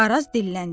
Araz dilləndi.